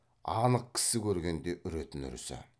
анық кісі көргенде үретін үрісі